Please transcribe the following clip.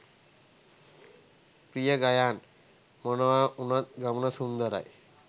ප්‍රිය ගයාන් “මොනවා වුනත් ගමන සුන්දරයි.